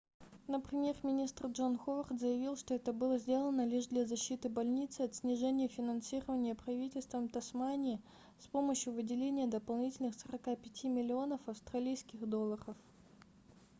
но премьер-министр джон ховард заявил что это было сделано лишь для защиты больницы от снижения финансирования правительством тасмании с помощью выделения дополнительных 45 миллионов австралийских долларов